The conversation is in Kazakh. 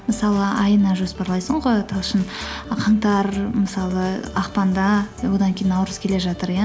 мысалы айына жоспарлайсың ғой талшын қаңтар мысалы ақпанда одан кейін наурыз келе жатыр иә